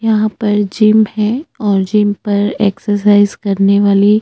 यहाँ पर जिम है और जिम पर एक्सरसाइज करने वाली--